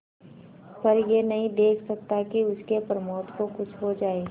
पर यह नहीं देख सकता कि उसके प्रमोद को कुछ हो जाए